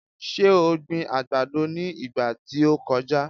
Ṣe o gbin àgbàdo ní ìgbà tí o kọjá?